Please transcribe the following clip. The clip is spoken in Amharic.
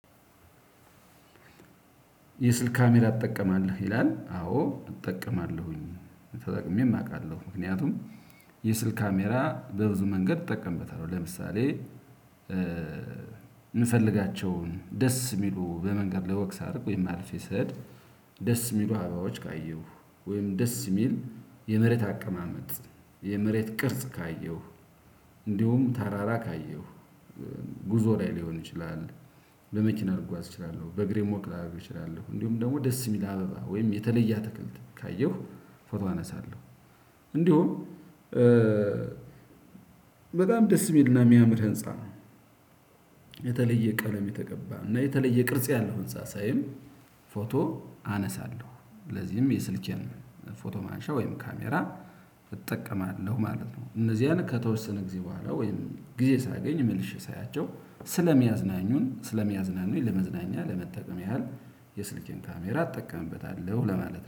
የስልክ ካሜራ አጠቀማለሁ ይላል አዎ እጠቀማለሁኝ ተጠቅሜም አውቃለሁ። ምክንያቱም የስልክ ካሜራ በብዙ መንገድ እጠቀምበታለሁ ለምሳሌ የምፈልጋቸውን ደስ የሚሉ በመንገድ ላይ ወክ ሳደርግ ወይም አልፌ ስሄድ ደስ የሚሉ አበባዎች ካየሁ ወይም ደስ የሚል የመሬት አቀማመጥ የመሬት ቅርጽ ካየሁ እንዲሁም ተራራ ካየሁ ጉዞ ላይ ሊሆን ይችላል። በመኪና ልጓዝ እችላለሁ በእግሬም ወክ ላደርግ እችላለሁ እንዲሁም ደግሞ ደስ የሚል አበባ ወይም የተለየ አትክልት ካየሁ ፎቶ አነሳለሁ። እንዲሁም በጣም ደስ የሚልና የሚያምር ህንፃ የተለየ ቀለም የተቀባ እና የተለየ ቅርጽ ያለው ህንፃ ሳይም ፎቶ አነሳለሁ። ስለዚህም የስልኬን ፎቶ ማንሻ ወይም ካሜራ እጠቀማለሁ ማለት ነው። እነዚያን ከተወሰነ ጊዜ በኋላ ወይም ጊዜ ሳገኝ መልሼ ሳያቸው ስለሚያዝናኙን ስለሚያዝናኑኝ ለመዝናኛ ለመጠቀም ያህል የስልኬን ካሜራ አጠቀምበታለሁ ለማለት